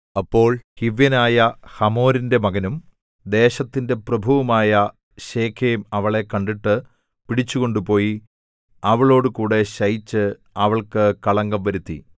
അപ്പോൾ ഹിവ്യനായ ഹമോരിന്റെ മകനും ദേശത്തിന്റെ പ്രഭുവുമായ ശെഖേം അവളെ കണ്ടിട്ട് പിടിച്ചുകൊണ്ടുപോയി അവളോടുകൂടെ ശയിച്ച് അവൾക്കു കളങ്കം വരുത്തി